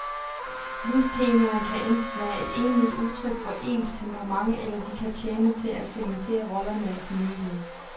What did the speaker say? Livstemaerne kan enten være et egentligt udtryk for ens temperament, eller de kan tjene til at cementere rollerne i familien.